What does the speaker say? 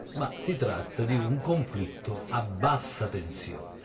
ma si tratta di un conflitto a bassa tensione.